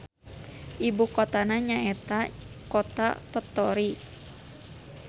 Ibukotana nyaeta Kota Tottori.